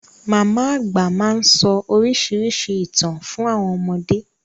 Màmá àgbà máa sọ oríṣiríṣi ìtàn fún àwọn ọmọdé.